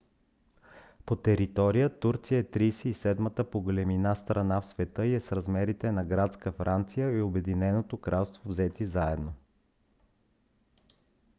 по територия турция е 37-ата по големина страна в света и е с размерите на градска франция и обединеното кралство взети заедно